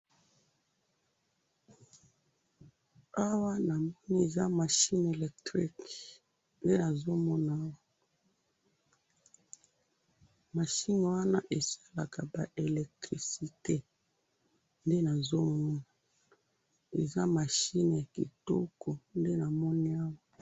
awa namoni eza machine electrik nde nazomona awa machine wana esalaka ba electricite nde nazomona eza machine ya kitoko nde namoni awa.